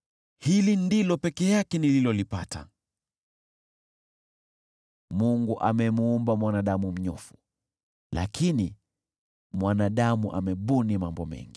Hili ndilo peke yake nililolipata: Mungu amemuumba mwanadamu mnyofu, lakini mwanadamu amebuni mambo mengi.”